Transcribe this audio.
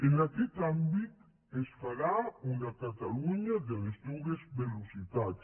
en aquest àmbit es farà una catalunya de les dues velocitats